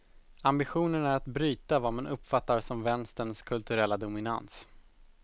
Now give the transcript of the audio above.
Ambitionen är att bryta vad man uppfattar som vänsterns kulturella dominans.